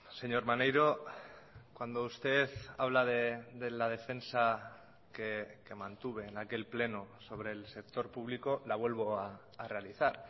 señor maneiro cuando usted habla de la defensa que mantuve en aquel pleno sobre el sector público la vuelvo a realizar